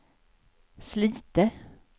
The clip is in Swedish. Slite